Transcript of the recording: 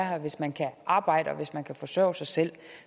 her hvis man kan arbejde og hvis man kan forsørge sig selv